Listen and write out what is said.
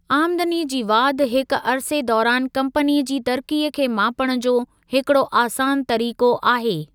आमदनी जी वाधि हिक अरिसे दौरानि कम्पनीअ जी तरिक़ीअ खे मापणु जो हिकड़ो आसान तरीक़ो आहे।